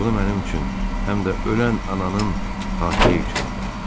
Bunu mənim üçün həm də ölən ananın xatirəyi üçün elə.